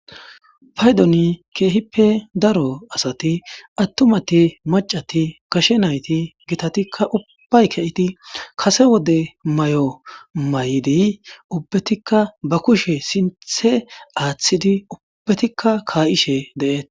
paydoni keehippe daro asati attumati macati gashe nayti gitatikka ubbay kayiti kase wode may7o may7idi ubbetikka ba kushe sinthe aaththidi ubbetikka kaa'ishe deeet